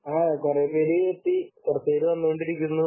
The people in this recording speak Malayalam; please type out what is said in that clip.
ആഹ് കുറേപ്പേര് എത്തി കുറച്ചുപേർ വന്നുകൊണ്ടിരിക്കുന്നു